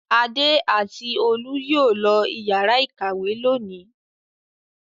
Adé àti Olú yóò lọ ìyàrá-ìkàwé lónìí.